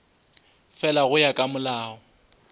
fela go ya ka molao